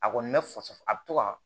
A kɔni bɛ fasa a bɛ to ka